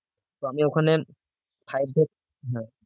তো আমি ওখানে five থেকে না